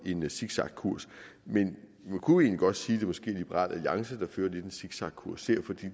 en zigzagkurs men man kunne egentlig godt sige at det måske er liberal alliance der lidt fører en zigzagkurs her for